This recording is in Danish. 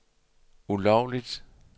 ulovligt